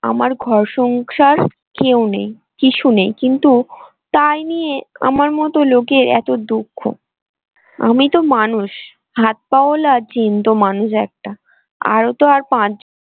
আমার ঘর সংসার কেউ নেই কিছু নেই কিন্তু তাই নিয়ে আমার মত লোকের এত দুঃখ আমি তো মানুষ হাত-পা ওয়ালা জ্যান্ত মানুষ একটা আরো তো আরো